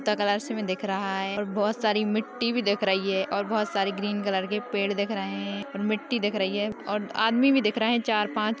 तथा कलर्स मे दिख रहा है और बहुत सारी मिट्टी भी दिख रही है और बहुत सारे ग्रीन कलर के पेड़ दिख रहे है और मिट्टी दिख रही है और आदमी भी दिख रहे चार-पाँच।